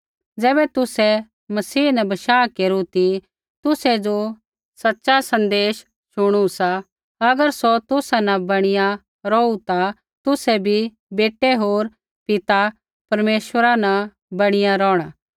ज़ैबै तुसै मसीह न बशाह केरू ती तुसै ज़ो सच़ा सन्देश शुणु सा अगर सौ तुसा न बणीया रौहु ता तुसै भी बेटै होर पिता परमेश्वरा न बणीया रौहणा